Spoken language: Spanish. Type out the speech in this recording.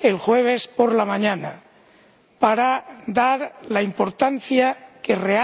el jueves por la mañana, para destacar la importancia que realmente tienen, objetivamente,